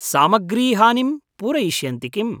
सामग्रीहानिं पूरयिष्यन्ति किम्?